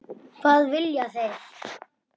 Hvað vilja þeir?